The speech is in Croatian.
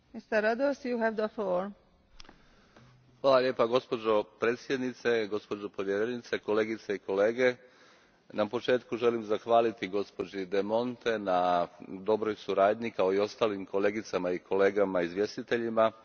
Gospođo predsjednice, gospođo povjerenice, kolegice i kolege, na početku želim zahvaliti gospođi De Monte na dobroj suradnji, kao i ostalim kolegicama i kolegama izvjestiteljima i na odličnom izvješću koje imamo pred sobom.